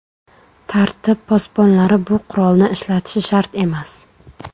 Tartib posbonlari bu qurolni ishlatishi shart emas.